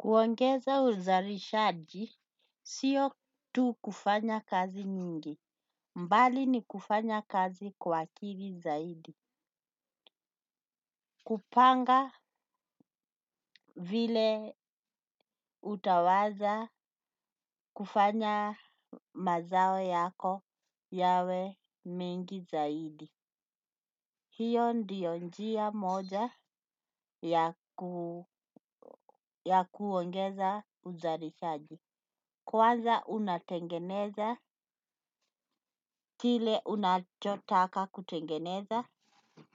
Kuongeza uzalishaji sio tu kufanya kazi nyingi. Mbali ni kufanya kazi kwa akili zaidi. Kupanga vile utaweza kufanya mazao yako yawe mengi zaidi. Hio ndiyo njia moja ya kuongeza uzarishaji. Kwanza unatengeneza kile unachotaka kutengeneza